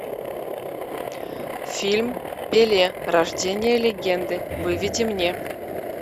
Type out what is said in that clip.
фильм пеле рождение легенды выведи мне